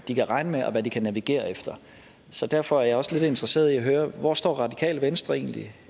de kan regne med og hvad de kan navigere efter så derfor er jeg også lidt interesseret i at høre hvor står radikale venstre egentlig